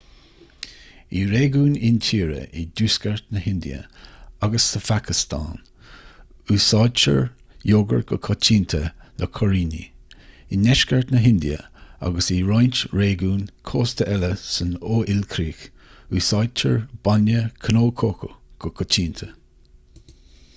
i réigiúin intíre i dtuaisceart na hindia agus sa phacastáin úsáidtear iógart go coitianta le cuiríní i ndeisceart na hindia agus i roinnt réigiún cósta eile san fho-ilchríoch úsáidtear bainne cnó cócó go coitianta